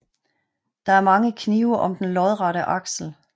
Der er mange knive om den lodrette aksel